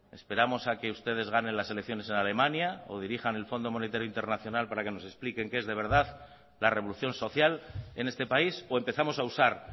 esperamos a que ustedes ganen las elecciones en alemania o dirijan el fondo monetario internacional para que nos expliquen qué es de verdad la revolución social en este país o empezamos a usar